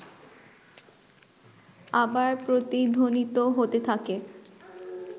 আবার প্রতিধ্বনিত হতে থাকে